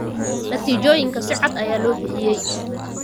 Natiijooyinka si cad ayaa loo bixiyay.